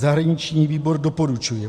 Zahraniční výbor doporučuje